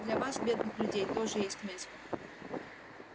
для вас бедных людей тоже есть место